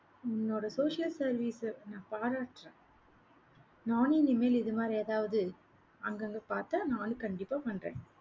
உன்னோட social service ஐ நான் பாராட்டுறேன். நானும் இனிமேல், இது மாதிரி எதாவது அங்கங்க பார்த்தா நானும் கண்டிப்பா பண்றேன்